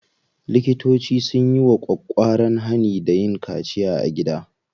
Likitoci sun yi ƙwaƙƙwaran hani da yin kaciya a gida.